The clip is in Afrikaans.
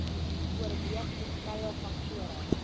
oorweeg verskeie faktore